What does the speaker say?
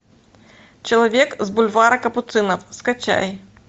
человек с бульвара капуцинов скачай